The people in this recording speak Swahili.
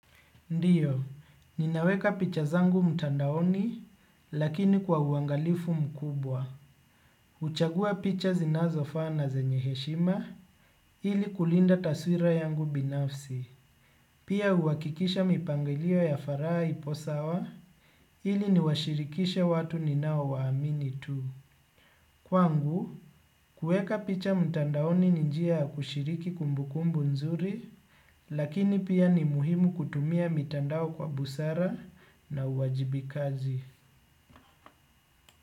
Ndiyo, ninaweka picha zangu mtandaoni lakini kwa uangalifu mkubwa. Huchagua picha zinazofaa na zenye heshima ili kulinda taswira yangu binafsi. Pia huhakikisha mipangilio ya faraha ipo sawa ili niwashirikishe watu ninaowaamini tu. Kwangu, kuweka picha mtandaoni ni njia ya kushiriki kumbukumbu nzuri, lakini pia ni muhimu kutumia mitandao kwa busara na uwajibikaji.